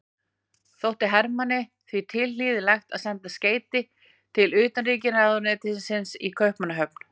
Þótti Hermanni því tilhlýðilegt að senda skeyti til utanríkisráðuneytisins í Kaupmannahöfn.